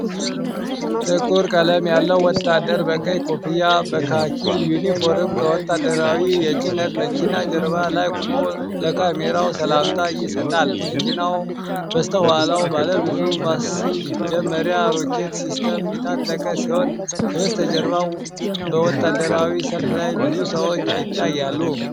ጥቁር ቀለም ያለው ወታደር በቀይ ኮፍያና በካኪ ዩኒፎርም ከወታደራዊ የጭነት መኪና ጀርባ ላይ ቆሞ ለካሜራው ሰላምታ ይሰጣል። መኪናው በስተኋላው ባለብዙ ማስጀመሪያ ሮኬት ሲስተም የታጠቀ ሲሆን፣ ከበስተጀርባ በወታደራዊ ሰልፍ ላይ ብዙ ሰዎች ይታያሉ።